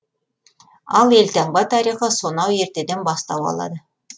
ал елтаңба тарихы сонау ертеден бастау алады